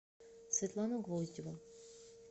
светлану гвоздеву